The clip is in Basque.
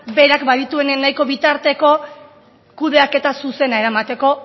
berak badituenean nahiko bitarteko kudeaketa zuzena eramateko